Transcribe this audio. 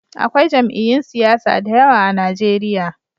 Akwai jam'iyyun siyasa da yawa a Najeriya.